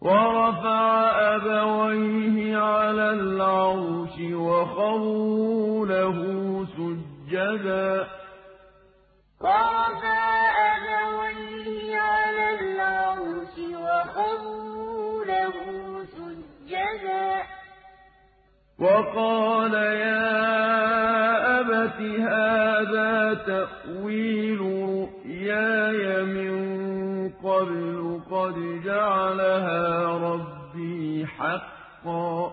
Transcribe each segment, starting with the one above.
وَرَفَعَ أَبَوَيْهِ عَلَى الْعَرْشِ وَخَرُّوا لَهُ سُجَّدًا ۖ وَقَالَ يَا أَبَتِ هَٰذَا تَأْوِيلُ رُؤْيَايَ مِن قَبْلُ قَدْ جَعَلَهَا رَبِّي حَقًّا ۖ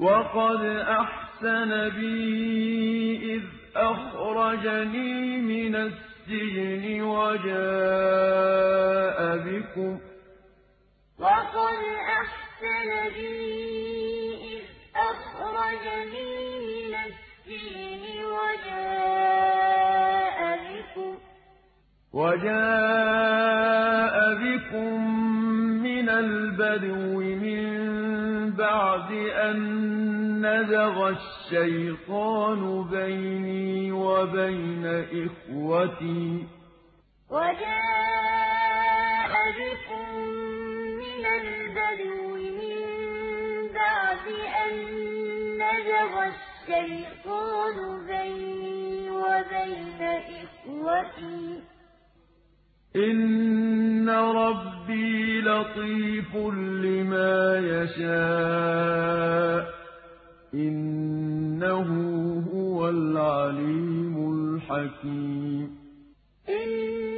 وَقَدْ أَحْسَنَ بِي إِذْ أَخْرَجَنِي مِنَ السِّجْنِ وَجَاءَ بِكُم مِّنَ الْبَدْوِ مِن بَعْدِ أَن نَّزَغَ الشَّيْطَانُ بَيْنِي وَبَيْنَ إِخْوَتِي ۚ إِنَّ رَبِّي لَطِيفٌ لِّمَا يَشَاءُ ۚ إِنَّهُ هُوَ الْعَلِيمُ الْحَكِيمُ وَرَفَعَ أَبَوَيْهِ عَلَى الْعَرْشِ وَخَرُّوا لَهُ سُجَّدًا ۖ وَقَالَ يَا أَبَتِ هَٰذَا تَأْوِيلُ رُؤْيَايَ مِن قَبْلُ قَدْ جَعَلَهَا رَبِّي حَقًّا ۖ وَقَدْ أَحْسَنَ بِي إِذْ أَخْرَجَنِي مِنَ السِّجْنِ وَجَاءَ بِكُم مِّنَ الْبَدْوِ مِن بَعْدِ أَن نَّزَغَ الشَّيْطَانُ بَيْنِي وَبَيْنَ إِخْوَتِي ۚ إِنَّ رَبِّي لَطِيفٌ لِّمَا يَشَاءُ ۚ إِنَّهُ هُوَ الْعَلِيمُ الْحَكِيمُ